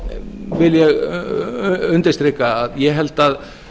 vil ég undirstrika að ég held að